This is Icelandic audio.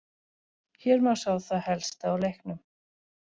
Hér má sjá það helsta úr leiknum: